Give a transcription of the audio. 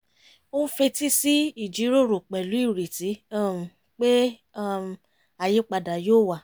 ó ń fetí sí ìjíròrò pẹ̀lú ireti um pé um àyípadà yóò wá